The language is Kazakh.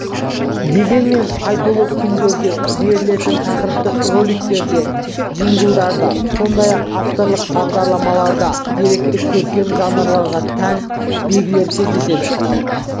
дегенмен айтулы күндерде берілетін тақырыптық роликтерде джинглдарда сондай-ақ авторлық бағдарламаларда деректі көркем жанрларға тән белгілер кездеседі